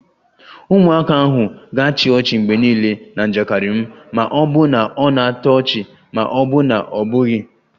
Ụmụaka ahụ ga-achị ọchị mgbe niile na njakịrị m ma ọ bụ na ọ na-atọ ọchị ma ọ bụ na ọ bụghị